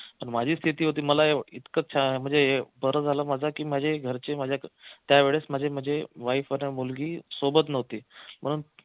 माझी स्थिती होती मला इतकं म्हणजे बर झालं माझं की माझे घरचे त्यावेळेस माझे म्हणजे wife आणि मुलगी सोबत नव्हते म्हणून